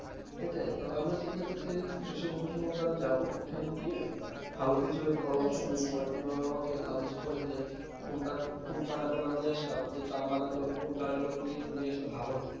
সেটাই তো আমি চিন্তা করছি কৃষি গবেষণা দার যাবো ওখানে গিয়ে ভালো কিছু পরামর্শ নিয়েছে ওরা কি ভাবে আমাকে suggest করে যে কোনটা কোন চারা গুলা নয়ে আসতাম যেটা আম বাগান করে কোন চারা গুলা নিনিয়ে আসলে ভালো